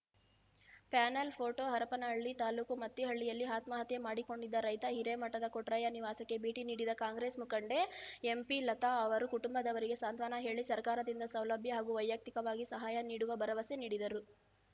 panel photo Harapanahalli ತಾಲೂಕು ಮತ್ತಿಹಳ್ಳಿಯಲ್ಲಿ ಆತ್ಮಹತ್ಯೆ ಮಾಡಿಕೊಂಡಿದ್ದ ರೈತ ಹಿರೇಮಠದ ಕೊಟ್ರಯ್ಯ ನಿವಾಸಕ್ಕೆ ಭೇಟಿ ನೀಡಿದ ಕಾಂಗ್ರೆಸ್‌ ಮುಖಂಡೆ ಎಂಪಿಲತಾ ಅವರು ಕುಟುಂಬದವರಿಗೆ ಸಾಂತ್ವನ ಹೇಳಿ ಸರ್ಕಾರದಿಂದ ಸೌಲಭ್ಯ ಹಾಗೂ ವೈಯುಕ್ತಿಕವಾಗಿ ಸಹಾಯ ನೀಡುವ ಭರವಸೆ ನೀಡಿದರು